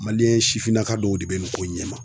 sifinnaka dɔw de be nin ko ɲɛma.